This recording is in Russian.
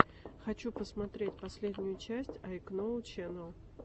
хочу посмотреть последнюю часть айкноу ченэл